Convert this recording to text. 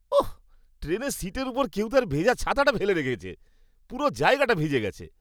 ওঃ, ট্রেনের সীটের উপরে কেউ তার ভেজা ছাতাটা ফেলে রেখেছে। পুরো জায়গাটা ভিজে গেছে।